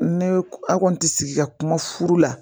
Ne aw kɔni tɛ sigi ka kuma furu la